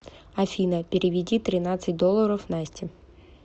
афина переведи тринадцать долларов насте